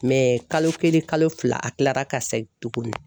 kalo kelen kalo fila a kilara ka se tuguni